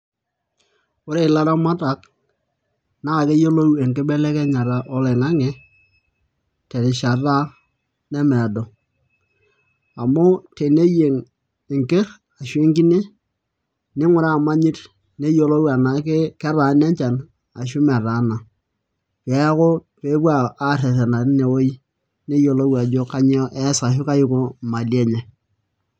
Ore ilaramatak naa keyiolo enkibelekenyata oloing'ang'e terishata nemeedo amu teneyieng' enkine ashu enkerr ninguraa imanyit ninguraa enaa ketaana enchan enaa metaana neeku pee epuo aarrerena tinewueji neyiolou ajo kanyioo ees ashu kaiko imali enye.